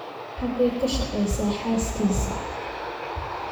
Xagee ka shaqeysaa xaaskiisa?